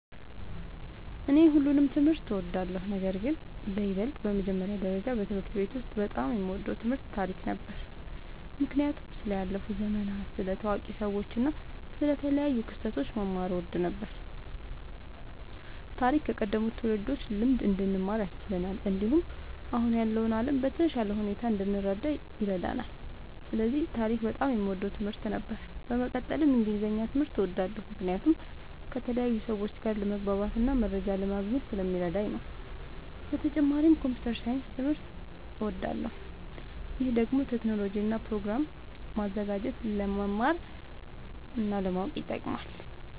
እኔ ሁሉንም ትምህርት እወዳለሁ፤ ነገርግን በይበልጥ በመጀመሪያ ደረጃ በትምህርት ቤት ውስጥ በጣም የምወደው ትምህርት ታሪክ ነበር። ምክንያቱም ስለ ያለፉ ዘመናት፣ ስለ ታዋቂ ሰዎች እና ስለ ተለያዩ ክስተቶች መማር እወድ ነበር። ታሪክ ከቀደሙት ትውልዶች ልምድ እንድንማር ያስችለናል፣ እንዲሁም አሁን ያለውን ዓለም በተሻለ ሁኔታ እንድንረዳ ይረዳናል። ስለዚህ ታሪክ በጣም የምወደው ትምህርት ነበር። በመቀጠልም እንግሊዝኛ ትምህርት እወዳለሁ ምክንያቱም ከተለያዩ ሰዎች ጋር ለመግባባትና መረጃ ለማግኘት ስለሚረዳኝ ነዉ። በተጨማሪም ኮምፒዉተር ሳይንስ ትምህርትም እወዳለሁ። ይህ ደግሞ ቴክኖሎጂን እና ፕሮግራም ማዘጋጀትን ለመማር እና ለማወቅ ይጠቅማል።